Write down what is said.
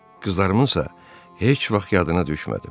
Qızlarımınsa heç vaxt yadına düşmədim.